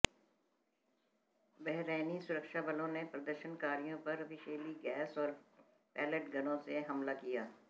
Bahraini सुरक्षा बलों ने प्रदर्शनकारियों पर विषैली गैस और पैलेट गनों से हमला किया